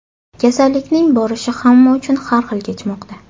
Kasallikning borishi hamma uchun har xil kechmoqda.